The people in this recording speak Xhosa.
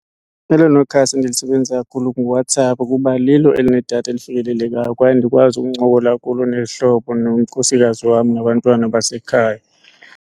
Elona khasi endilisebenzisa kakhulu nguWhatsApp kuba lilo elinedatha elifikelelekayo kwaye ndikwazi ukuncokola kulo nezihlobo, nonkosikazi wam nabantwana basekhaya.